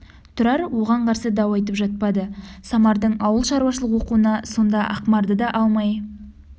тұрар оған қарсы дау айтып жатпады самардың ауылшаруашылық оқуына сонда ақмарды да алмай